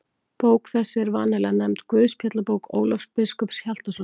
Bók þessi er vanalega nefnd Guðspjallabók Ólafs biskups Hjaltasonar.